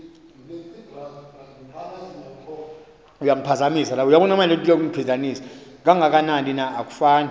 kangakanani na akufani